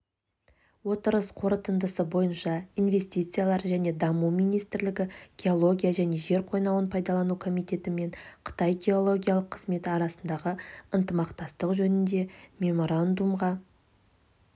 отырыс қорытындысы бойынша инвестициялар және даму министрлігі геология және жер қойнауын пайдалану комитеті мен қытай геологиялық қызметі арасындағы ынтымақтастық жөніндегі меморандумға